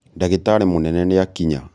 ndagĩtarĩ mũnene nĩakinya